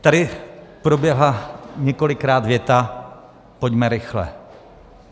Tady proběhla několikrát věta "pojďme rychle".